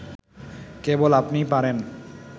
কেবল আপনিই পারেন